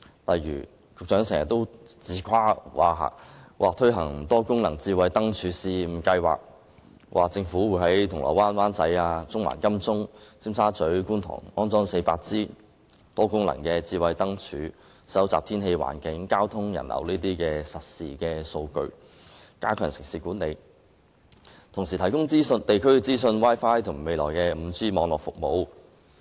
例如，局長經常自誇會推行"多功能智慧燈柱試驗計劃"，在銅鑼灣、灣仔、中環、金鐘、尖沙咀、觀塘等區安裝400支多功能燈柱，收集天氣、環境、交通、人流等方面的實時數據，以加強城市管理，並且提供地區資訊、Wi-Fi 和未來的 5G 網絡服務。